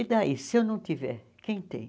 E daí, se eu não tiver, quem tem?